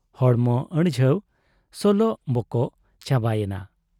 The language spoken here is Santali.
ᱦᱚᱲᱢᱚ ᱟᱹᱲᱡᱷᱟᱹᱣ ᱥᱚᱞᱚᱜ ᱵᱚᱠᱚᱜ ᱪᱟᱵᱟᱭᱮᱱᱟ ᱾